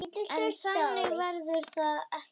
En þannig verður það ekki.